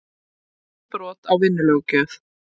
Ekki brot á vinnulöggjöf